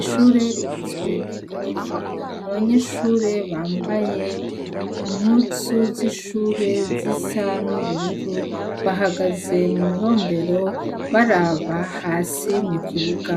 Ishure rigizwe n’igorofa abanyeshure bambay impuzu zishure zisa n’ubururu bahagaze muburombero baraba hasi mukibuga